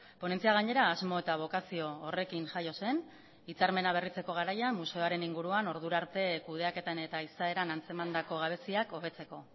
ponentzia gainera asmo eta bokazio horrekin jaio zen hitzarmena berritzeko garaia museoaren inguruan ordura arte kudeaketan eta izaeran antzemandako gabeziak hobetzeko